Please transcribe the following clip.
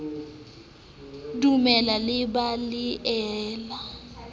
dumelle le be le ele